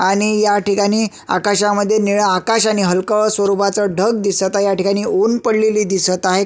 आणि ह्या ठिकाणी आकाशामध्ये नीळ आकाश आणि हलक स्वरूपाच ढग दिसत आहे ह्या ठिकाणी ऊन पडलेले दिसत आहे.